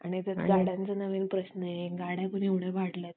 गाड्यांचे एक नवीन प्रश्न आहे गाड्या पण एवढ्या वाढल्यात